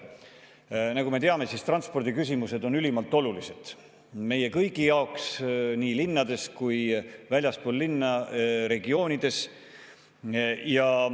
Nagu me teame, on transpordiküsimused ülimalt olulised meie kõigi jaoks nii linnades kui ka väljaspool linna, regioonides.